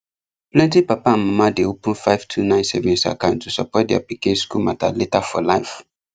plenty papa and mama dey open five two nine savings account to support their pikin school matter later for life